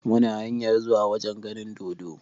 Muna hanyar zuwa wajen ganin dodo.